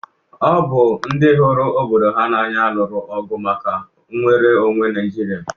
Ọ bụ ndị hụrụ obodo ha n'anya lụrụ ọgụ maka nnwere onwe Naijiria.